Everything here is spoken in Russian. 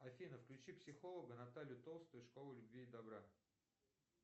афина включи психолога наталью толстую школу любви и добра